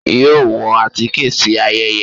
yóò wọ atike si ayẹyẹ?